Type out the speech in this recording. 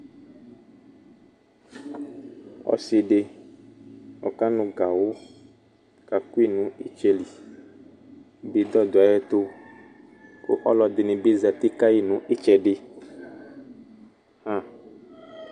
Ɔsɩ dɩ ɔkanʋ gawʋ kakʋ yɩ nʋ ɩtsɛ li Bɩdɔ dʋ ayɛtʋ kʋ ɔlʋ ɛdɩnɩ bɩ zati ka yɩ nʋ ɩtsɛdɩ ɣã